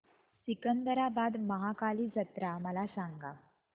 सिकंदराबाद महाकाली जत्रा मला सांगा